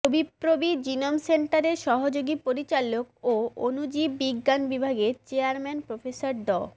যবিপ্রবি genome সেন্টারের সহযোগী পরিচালক ও অনুজীব বিজ্ঞান বিভাগের চেয়ারম্যান প্রফেসর ড